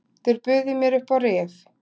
Þeir buðu mér upp á rif.